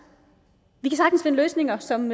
finde løsninger som